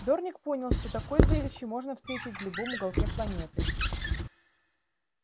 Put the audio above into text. дорник понял что такое зрелище можно встретить в любом уголке планеты